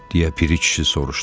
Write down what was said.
Deyə Piri kişi soruşdu.